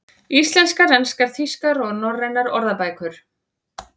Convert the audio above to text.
Íslenskar, enskar, þýskar og norrænar orðabækur.